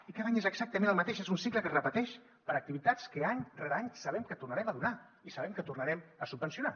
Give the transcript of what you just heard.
i cada any és exactament el mateix és un cicle que es repeteix per a activitats que any rere any sabem que tornarem a donar i sabem que tornarem a subvencionar